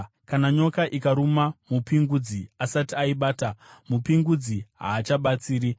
Kana nyoka ikaruma mupingudzi asati aibata, mupingudzi haachabatsiri.